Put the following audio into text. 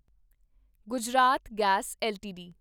Gujarat gas LTD